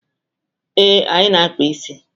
Ee, anyị na-akpa isi.